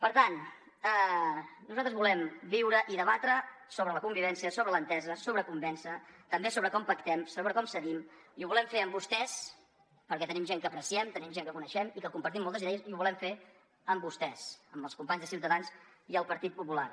per tant nosaltres volem viure i debatre sobre la convivència sobre l’entesa sobre convèncer també sobre com pactem sobre com cedim i ho volem fer amb vostès perquè tenim gent que apreciem tenim gent que coneixem i que compartim moltes idees i ho volem fer amb vostès amb els companys de ciutadans i del partit popular